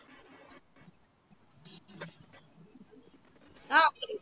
ஆஹ் புரியுது